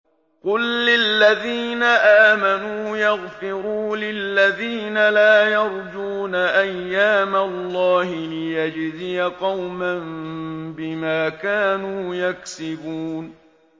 قُل لِّلَّذِينَ آمَنُوا يَغْفِرُوا لِلَّذِينَ لَا يَرْجُونَ أَيَّامَ اللَّهِ لِيَجْزِيَ قَوْمًا بِمَا كَانُوا يَكْسِبُونَ